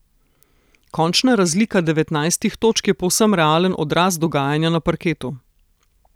Končna razlika devetnajstih točk je povsem realen odraz dogajanja na parketu.